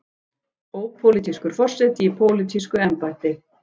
Ópólitískur forseti í pólitísku embætti.